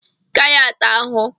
ị gaghị ata ahụhụ